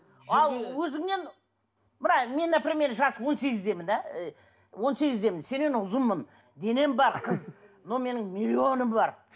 ал өзіңнен мына мен например жасым он сегіздемін да он сегіздемін сенен ұзынмын денем бар қыз но менің миллионым бар